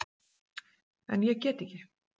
En ég get ekki.